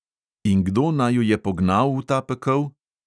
In kdo naju je pognal v ta pekel?